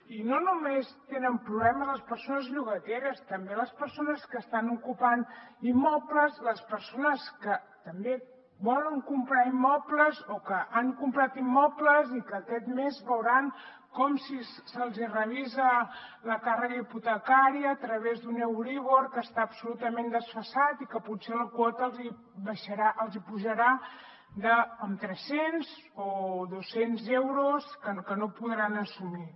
i no només tenen problemes les persones llogateres també les persones que estan ocupant immobles les persones que també volen comprar immobles o que han comprat immobles i que aquest mes veuran com se’ls hi revisa la càrrega hipotecària a través d’un euríbor que està absolutament desfasat i que potser la quota els hi pujarà tres cents o dos cents euros que no podran assumir